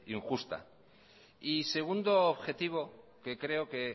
injusta y segundo objetivo que creo que